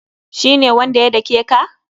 Shi ne wanda ya dake ka?